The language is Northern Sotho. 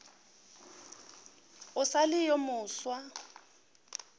o sa le yo mofsa